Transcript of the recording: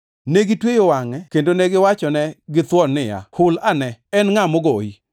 Negitweyo wangʼe kendo negiwachone githuon niya, “Hul ane! En ngʼa mogoyi?”